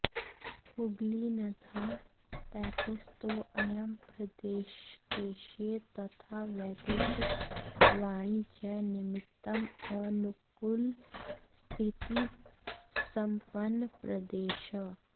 हुगलिनद्याः तटेस्थितोऽयं प्रदेशः देशीय तथा वैदेशिकवाणिज्यनिमित्तम् अनुकूलस्थितिसम्पन्नः प्रदेशः